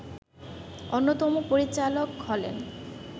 অন্যতম পরিচালক হলেন